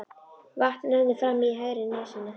Vatn rennur fram í hægri nösina.